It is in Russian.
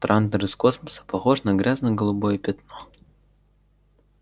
трантор из космоса похож на грязно-голубое пятно